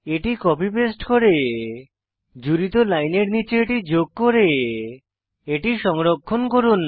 এটি copy paste করে জুড়িত লাইনের নীচে এটি যোগ করে এটি সংরক্ষণ করুন